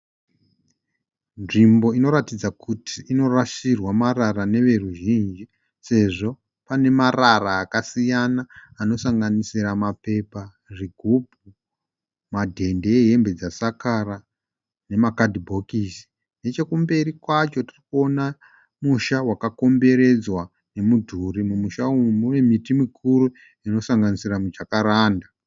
Nzvimbo inoratidza kuti inorashirwa marara neveruzhinji. Sezvo pane marara akasiyana anosanganisira mapepa, zvigumbu, madhende ehembe dzasakara nemakadhibhokisi. Nechekumberi kwacho, tirikuona musha wakakomberedzwa nemudhuri, mumusha umu mune miti mikuru inosanganisira mujakaranda.